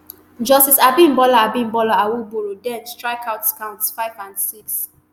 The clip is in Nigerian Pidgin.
justice abimbola abimbola awogboro den strike out counts five and six